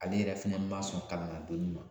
Ale yɛrɛ fɛnɛ ma sɔn kalanna donni ma